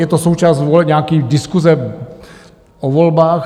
Je to součást voleb, nějaké diskuse o volbách?